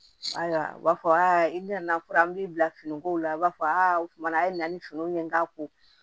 Ayiwa u b'a fɔ aa i nana fɔ an b'i bila finiko la i b'a fɔ aa o tuma a ye na ni finiw ye n k'a ko